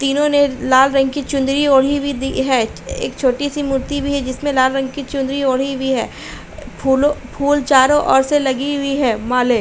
तीनों ने लाल रंग की चुनरी ओढ़ी हुई दी है। एक छोटी-सी मूर्ति भी है जिसमें लाल रंग की चुनरी ओढ़ी हुई है। फूलों फूल चारों ओर से लगी हुई है। मालें --